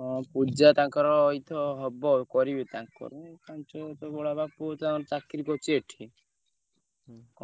ହଁ ପୂଜା ତାଙ୍କର ହବ କରିବେ ତାଙ୍କର ବଡ ବାପା ପୁଅ ଚାକିରି କରିଛି ଏଠି